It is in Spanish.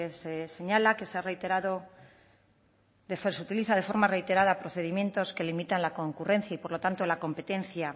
se señala que se ha reiterado que se utiliza de forma reiterada procedimientos que limitan la concurrencia y por lo tanto la competencia